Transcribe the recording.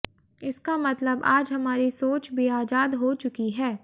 इसका मतलब आज हमारी सोच भी आजाद हो चुकी है